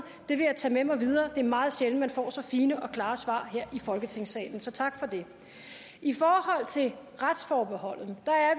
det vil jeg tage med mig videre det er meget sjældent man får så fine og klare svar her i folketingssalen så tak for det i forhold til retsforbeholdet